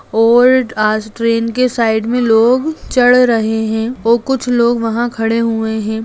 और आज ट्रैन के साइड में लोग चढ़ रहे है वो कुछ लोग वहाँ खड़े हुए है।